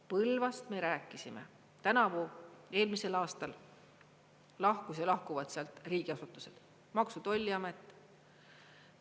Põlvast me rääkisime, tänavu, eelmisel aastal lahkusid või lahkuvad sealt riigiasutused, Maksu- ja Tolliamet.